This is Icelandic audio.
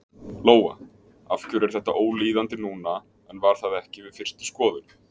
Lóa: Af hverju er þetta ólíðandi núna en var það ekki við fyrstu skoðun?